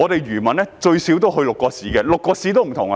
漁民最少要去6個市，而6個市的模式各有不同。